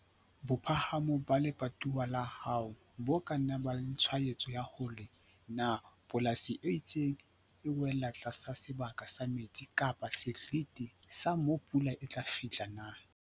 Bophahamo ba lebatowa la hao bo ka nna ba ba le tshwaetso ya hore na polasi e itseng e wela tlasa sebaka sa metsi kapa sa seriti sa moo pula e tla fihla na.